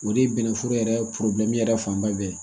O de ye bɛnnɛforo yɛrɛ yɛrɛ fanba bɛɛ ye